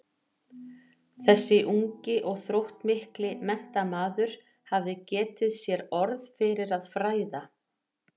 Þessi ungi og þróttmikli menntamaður hafði getið sér orð fyrir að fræða